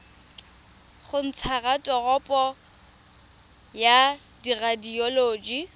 go ntsha raporoto ya radioloji